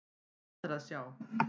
Hvað er að sjá!